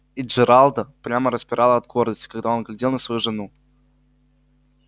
и джералда прямо распирало от гордости когда он глядел на свою жену